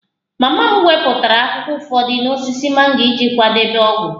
Mama m wepụtara akwụkwọ ụfọdụ n'osisi mango iji kwadebe ogwu